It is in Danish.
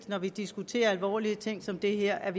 når vi diskuterer alvorlige ting som det her at